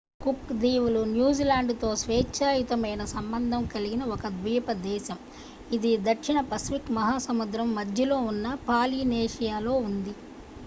cook దీవులు New Zealand తో స్వేచ్ఛా యుత మైన సంబంధం కలిగిన ఒక ద్వీప దేశం ఇది దక్షిణ పసిఫిక్ మహాసముద్రం మధ్యలో ఉన్న పాలినేషియాలో ఉంది